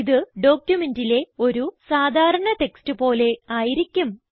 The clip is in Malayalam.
ഇത് ഡോക്യുമെന്റിലെ ഒരു സാധാരണ ടെക്സ്റ്റ് പോലെ ആയിരിക്കും